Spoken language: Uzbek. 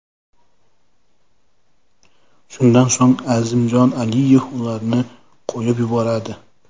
Shundan so‘ng Azimjon Aliyev ularni qo‘yib yuboradi.